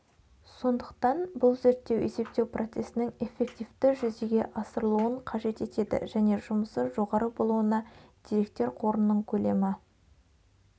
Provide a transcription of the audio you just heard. сондықтан бұл зерттеу есептеу процесінің эффективті жүзеге асырылуын қажет етеді және жұмысы жоғары болуына деректер қорының көлемі